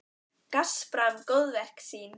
Gaspra um góðverk sín.